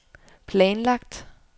planlagt